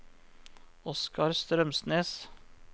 Oskar Strømsnes